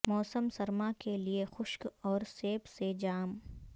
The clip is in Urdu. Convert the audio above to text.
موسم سرما کے لئے خشک اور سیب سے جام